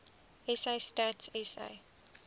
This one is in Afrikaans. sa stats sa